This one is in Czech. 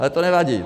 Ale to nevadí.